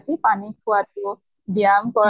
টো পানী খোৱা টো ব্য়ায়াম কৰা